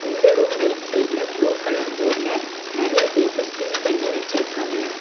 இந்த room right சைடுல blue colour போட்ல நெறைய பேப்பர்ஸ் பின் பண்ணி வச்சிருக்காங்க.